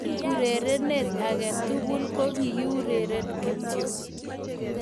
Eng urerenet age tugul kokiureren kityo